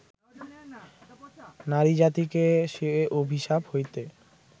নারীজাতিকে সে অভিশাপ হইতে